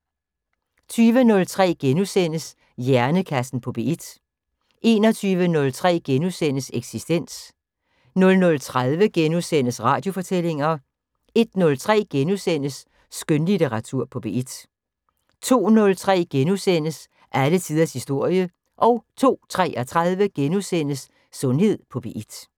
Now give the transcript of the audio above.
20:03: Hjernekassen på P1 * 21:03: Eksistens * 00:30: Radiofortællinger * 01:03: Skønlitteratur på P1 * 02:03: Alle tiders historie * 02:33: Sundhed på P1 *